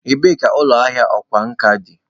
Ebee ka ụlọ ahịa ọkwá nkà dị?